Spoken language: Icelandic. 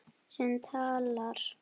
Sem talar.